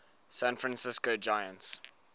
san francisco giants